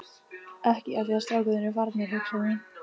Ekki af því að strákarnir eru farnir, hugsaði hún.